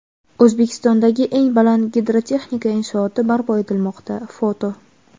O‘zbekistondagi eng baland gidrotexnika inshooti barpo etilmoqda (foto).